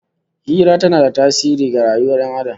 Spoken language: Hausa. Hira tana da tasiri ga rayuwar Ƴan Adam